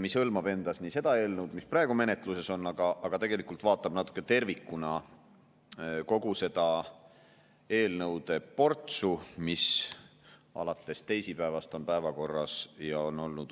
mis hõlmab endas seda eelnõu, mis praegu menetluses on, aga vaatab natuke tervikuna kogu seda usaldusega seotud eelnõude portsu, mis alates teisipäevast päevakorras on.